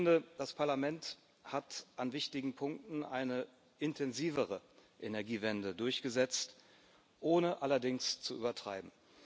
Ich finde, das Parlament hat an wichtigen Punkten eine intensivere Energiewende durchgesetzt, ohne allerdings zu übertreiben.